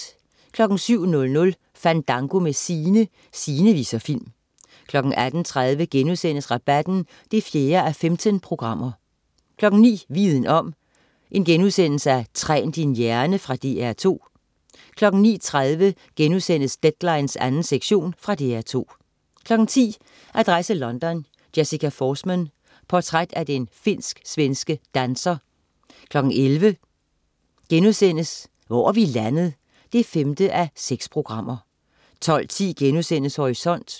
07.00 Fandango med Sine. Sine viser film 08.30 Rabatten 4:15* 09.00 Viden om: Træn din hjerne.* Fra DR2 09.30 Deadline 2. sektion.* Fra DR2 10.00 Adresse London: Jessica Forsman. Portræt af den finsk-svenske danser 11.00 Hvor er vi landet? 5:6* 12.10 Horisont*